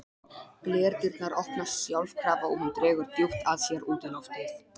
Glerdyrnar opnast sjálfkrafa og hún dregur djúpt að sér útiloftið.